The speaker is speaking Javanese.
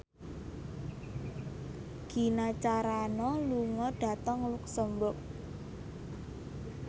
Gina Carano lunga dhateng luxemburg